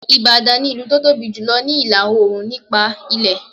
Ìbàdàn ni ilu tó tóbi jù ní ìlà Òòrùn nípa ilẹ̀